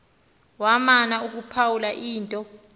wamana ukuphawula into